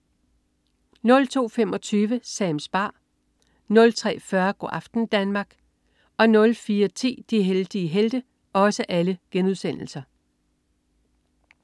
02.25 Sams bar* 03.40 Go' aften Danmark* 04.10 De heldige helte*